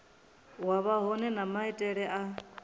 wa vhohe na maitele a